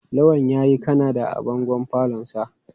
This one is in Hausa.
Lawal yayi Kanada a bangon falonsa.